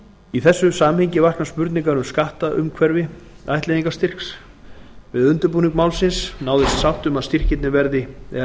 í þessu samhengi vakna spurningar um skattaumhverfi ættleiðingarstyrks við undirbúning málsins náðist sátt um að leggja